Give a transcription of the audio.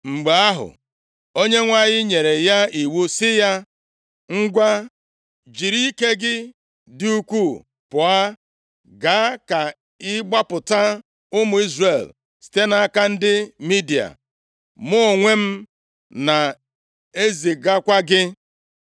Mgbe ahụ, Onyenwe anyị nyere ya iwu sị ya, “Ngwa, jiri ike gị dị ukwuu pụọ, gaa ka ị gbapụta ụmụ Izrel site nʼaka ndị Midia. Mụ onwe m na-ezigakwa gị.”